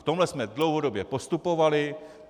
V tomhle jsme dlouhodobě postupovali.